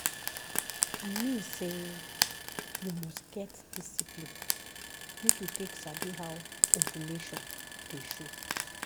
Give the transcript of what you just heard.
i mean say you must get discipline make you take sabi how ovulation dey show.